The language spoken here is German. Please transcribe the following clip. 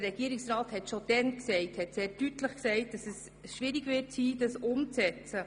Der Regierungsrat hat schon damals sehr deutlich gesagt, dass es schwierig sein würde, diese umzusetzen.